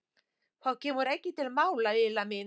Það kemur ekki til mála, Lilla mín.